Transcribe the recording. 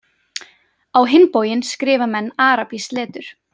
Á hinn bóginn skrifa menn arabískt letur.